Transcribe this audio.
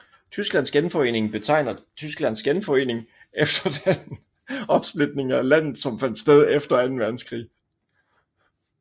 Tysklands genforening betegner Tysklands genforening efter den opsplitning af landet som fandt sted efter Anden Verdenskrig